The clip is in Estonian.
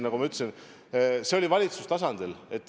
Nagu ma ütlesin, see oli valitsustasandil.